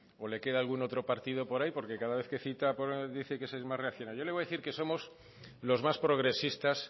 o le queda algún partido por ahí porque cada vez que cita dice que es más reaccionario yo le voy a decir que somos los más progresistas